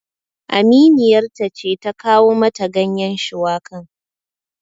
Aminiyar ta ce ta kawo mata ganyen shuwakan